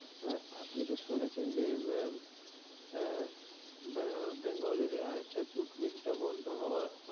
আর আপনি তো শুনেছেন যে আহ বে~বেঙ্গলের আর একটা জুৎ mill তা বন্ড হওয়ার,